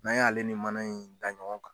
N'an y'ale ni mana in da ɲɔgɔn kan.